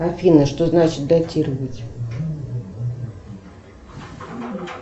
афина что значит датировать